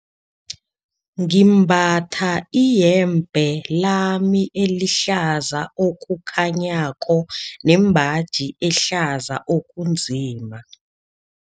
Ngimbatha iyembe lami elihlaza okukhanyako nembaji ehlaza okunzima.